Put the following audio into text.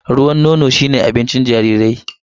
Ruwan nono shi ne abincin jarirai.